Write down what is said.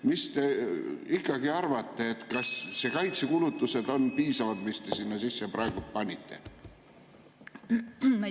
Mis te arvate, kas need kaitsekulutused on piisavad, mis te sinna sisse praegu panite?